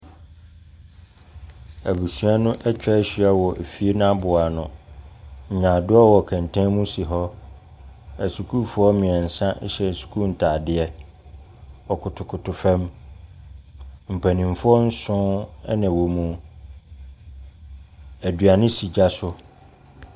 Abusua no atwa ahyia wɔ fie no n'abobo ano. Nyadoa wɔ kɛntɛn mu si hɔ. Asukuufoɔ mmiɛnsa hyɛ sukuu ntaadeɛ. Wɔkpotokoto fam. Mpanimfoɔ nson na ɛwɔ mu. Aduane si gya so.